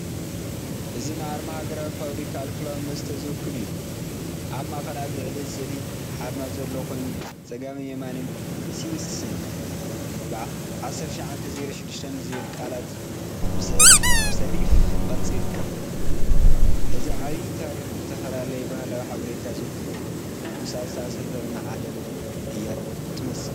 እዚ ንኣርማ ሃገራዊ ፋብሪካ ኣልኮላዊ መስተ ዝውክል እዩ። ኣብ ማእከል ኣብ ላዕሊ ስእሊ ሓርማዝ ዘለዎ ኮይኑ፡ ብጸጋምን የማንን 'ሲንስ'ን '1906'ን ዝብሉ ቃላት ብሰሪፍ ቅርጺ ይርከቡ። እዚ ዓቢይ ታሪኽን ዝተፈላለየ ባህላዊ ሓበሬታን ዝውክል እዩ። ምስኣ ዝተኣሳሰረትና ዓለም እያ ትመስል።